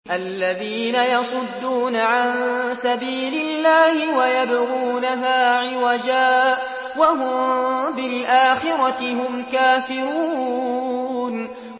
الَّذِينَ يَصُدُّونَ عَن سَبِيلِ اللَّهِ وَيَبْغُونَهَا عِوَجًا وَهُم بِالْآخِرَةِ هُمْ كَافِرُونَ